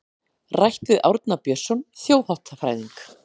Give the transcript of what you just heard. Rætt við Árna Björnsson þjóðháttafræðing.